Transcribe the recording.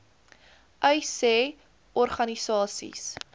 uys sê organisasies